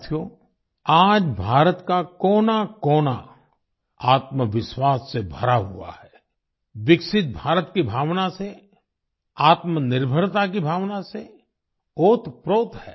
साथियो आज भारत का कोनाकोना आत्मविश्वास से भरा हुआ है विकसित भारत की भावना से आत्मनिर्भरता की भावना से ओतप्रोत है